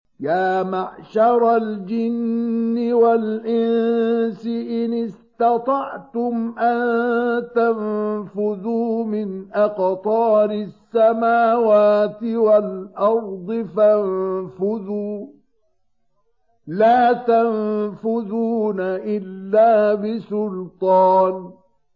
يَا مَعْشَرَ الْجِنِّ وَالْإِنسِ إِنِ اسْتَطَعْتُمْ أَن تَنفُذُوا مِنْ أَقْطَارِ السَّمَاوَاتِ وَالْأَرْضِ فَانفُذُوا ۚ لَا تَنفُذُونَ إِلَّا بِسُلْطَانٍ